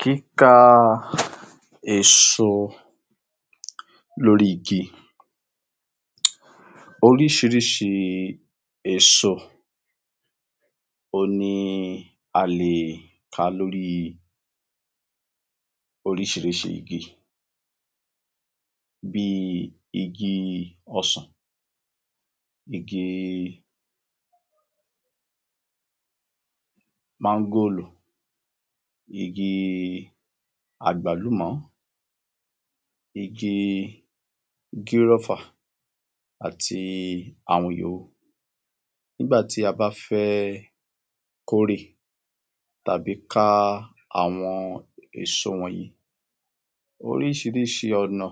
Kíká èso lórí igi Oríṣiríṣi èso òhun ni a lè ká lórí oríṣiríṣi igi bí i igi ọsàn, igi máńgòrò, igi àgbálùmọ́, igi gírófà, àti àwọn yòó. Nígbà tí a bá fẹ́ kórè tàbí ká àwọn èso wọnyìí, oríṣiríṣi ọ̀nà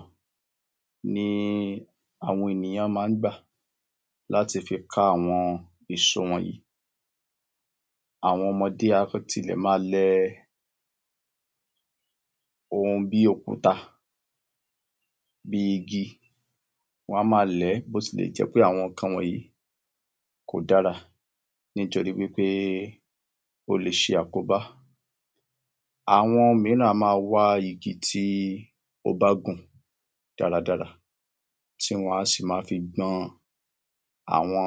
ni àwọn ènìyàn máa ń gbà láti fi ká àwọn èso wọnyìí. Àwọn ọmọdé a tilẹ̀ máa lẹ ohun bí i òkúta bí i igi, wọ́n á máa lẹ̀ẹ́ bótilẹ̀jẹ́pẹ́ àwọn nǹkan wọnyìí kò dára nítorí wí pé ó le ṣe àkóbá. Àwọn mìíràn a máa wá igi tí ó bá gùn dáradára tí wọ́n á sì ma fi gbọn àwọn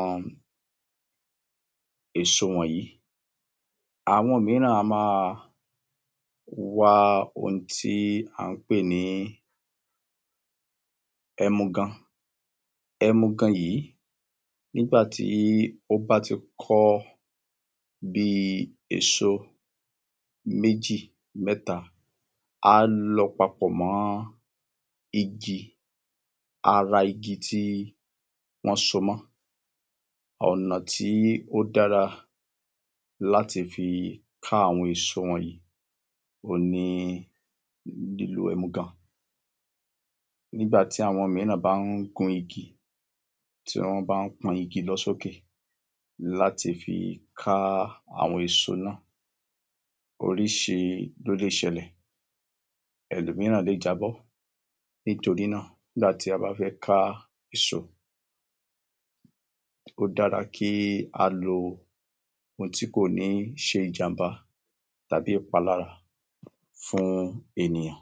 èso wọnyìí. Àwọn mìíràn a máa wá ohun tí à ń pè ní ẹmugan. Emugan yìí nígbà tí ó bá ti kọ́ bí i èso méjì mẹ́ta, á lọ papọ̀ mọ́ igi ara igi tí wọ́n so mọ́. Ọ̀nà tí ó dára láti fi ká àwọn èso wọnyìí òhun ni lílo ẹmugan. Nígbà tí àwọn mìíràn bá ń gun igi, tí wọ́n bá ń pọ́n igi lọ sókè láti fi ká àwọn èso náà, oríṣi ló lè ṣẹlẹ̀. Ẹlòmíràn lè jábọ́, nítorí náà ígbàtí a bá fẹ́ ká èso, ó dára kí a lo ohun tí kò ní ṣe ìjàmbá tàbí ìpalára fún ènìyàn.